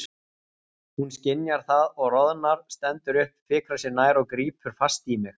Hún skynjar það og roðnar, stendur upp, fikrar sig nær og grípur fast í mig.